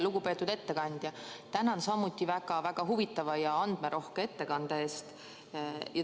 Lugupeetud ettekandja1 Tänan samuti väga huvitava ja andmerohke ettekande eest.